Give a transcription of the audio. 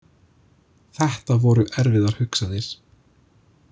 Þetta voru erfiðar hugsanir.